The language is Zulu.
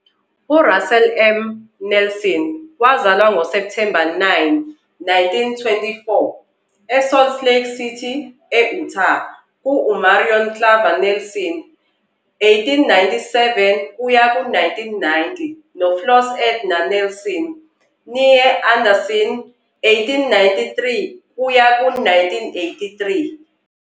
URussell M. Nelson wazalwa ngoSepthemba 9, 1924, eSalt Lake City, e-Utah, kuMarion Clavar Nelson, 1897-1990, noFloss Edna Nelson, "née" Anderson, 1893-1983.